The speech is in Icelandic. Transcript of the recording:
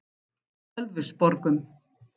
Ölfusborgum